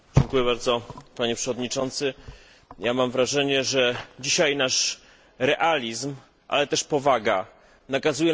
Mam wrażenie, że dzisiaj nasz realizm, ale też powaga nakazuje nam powiedzieć w tej Izbie, jakie te wybory naprawdę były.